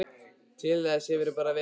Til þessa hefurðu bara verið peð.